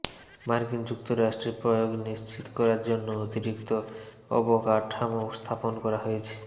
মার্কিন যুক্তরাষ্ট্রে প্রয়োগ নিশ্চিত করার জন্য অতিরিক্ত অবকাঠামো স্থাপন করা হয়েছে